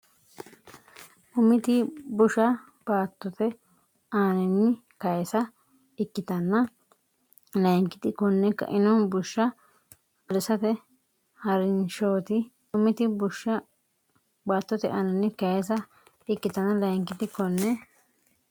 Umiti busha baattote aaninni kayisa ikkitanna layinkiti konne kaino bushsha ha’risate ha’rinshooti Umiti busha baattote aaninni kayisa ikkitanna layinkiti konne.